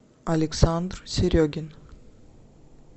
александр серегин